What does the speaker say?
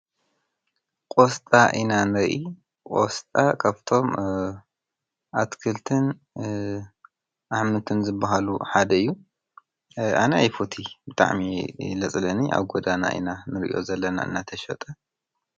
ቆስጣ ኢና ንርኢ ቆስጣ ካብቶም አትክልትን ኣሕምልትን ዝበሃሉ ሓደ እዩ ኣነ አይፎቲይ ብጣዕሚ እየ ለፅለአኒ ኣብ ጎዳና ኢና ንሪኦ ዘለና ናተሸጠ ።